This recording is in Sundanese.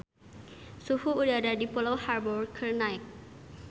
Suhu udara di Pulau Harbour keur naek